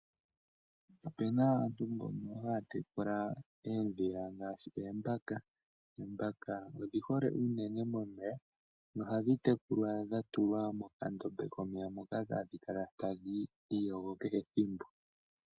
Opena aantu mbono haya tekula oodhila ngaashi oombaka. Oombaka odhi hole unene momeya, nohadhi tekulwa dha tulwa mokandombe komeya, moka hadhi kala tadhi iyogo kehe ethimbo.